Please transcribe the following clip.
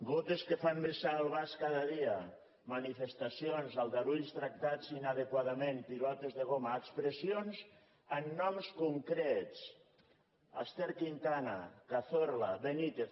gotes que fan vessar el vas cada dia manifestacions aldarulls tractats inadequadament pilotes de goma expressions amb noms concrets ester quintana cazorla benítez